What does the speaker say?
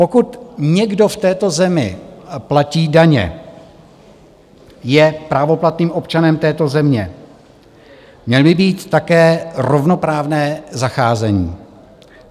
Pokud někdo v této zemi platí daně, je právoplatným občanem této země, měl by mít také rovnoprávné zacházení.